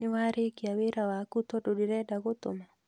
Nĩwarĩkia wĩra waku tondũ ndĩrenda gũtũma?